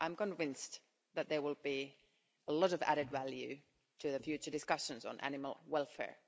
I'm convinced that there will be a lot of added value to the future discussions on animal welfare.